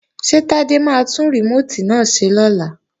Ṣé Tádé máa tún rìmóòtì náà ṣe lọ́la?